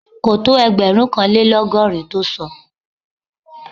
Kò tó ẹgbẹ̀rúnkanlélọ́gọ́rin tó sọ